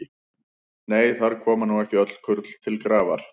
Nei, þar koma nú ekki öll kurl til grafar.